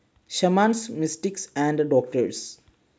shamans, mystics and doctors